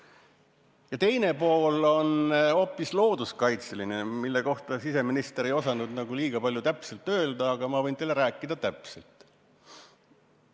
Eelnõu teine pool on looduskaitseline, mille kohta siseminister ei osanud kuigi palju öelda, aga ma võin teile rohkem rääkida.